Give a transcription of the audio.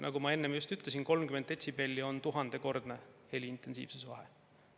Nagu ma enne ütlesin, 30 detsibelli tuhandekordset heliintensiivsuse vahet.